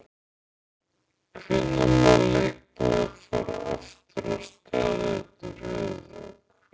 Hvenær má leikmaður fara aftur af stað eftir höfuðhögg?